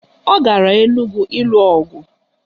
Ọ gara Enugwu ịlụ ọgụ